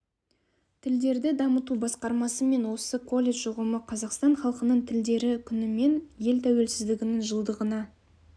тілдерді дамыту басқармасы мен осы колледж ұжымы қазақстан халқының тілдері күні мен ел тәуелсіздігінің жылдығына